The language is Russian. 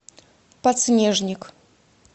подснежник